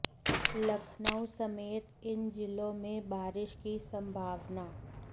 लखनऊ समेत इन जिलों में बारिश की संभावना